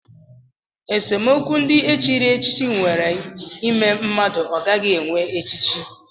Esemokwu ndị e chiri echichi nwere ime mmadụ ọ gaghị enwe echichi